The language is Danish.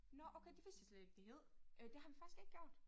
Nåh okay det vidste jeg slet ikke det hed. Øh det har vi faktisk ikke gjort